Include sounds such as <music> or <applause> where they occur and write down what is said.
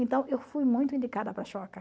Então, eu fui muito indicada para <unintelligible>